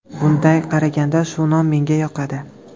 Bunday qaraganda, shu nom menga yoqadi.